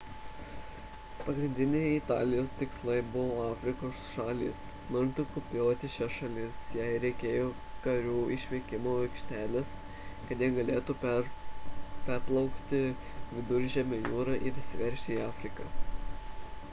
pagrindiniai italijos tikslai buvo afrikos šalys norint okupuoti šias šalis jai reikėjo karių išvykimo aikštelės kad jie galėtų peplaukti viduržemio jūrą ir įsiveržti į afriką